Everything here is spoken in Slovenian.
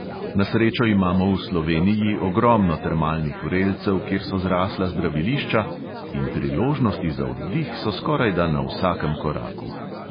Na srečo imamo v sloveniji ogromno termalnih vrelcev, kjer so zrasla zdravilišča in priložnosti za oddih so skorajda na vsakem koraku.